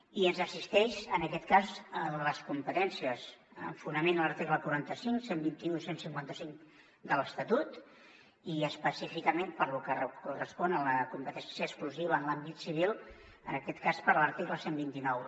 i ens assisteixen aquest cas les competències amb fonament a l’article quaranta cinc cent i vint un cent i cinquanta cinc de l’estatut i específicament per lo que correspon a la competència exclusiva en l’àmbit civil en aquest cas per l’article cent i vint nou